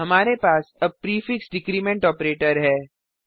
हमारे पास अब प्रीफिक्स डिक्रीमेंट ऑपरेटर है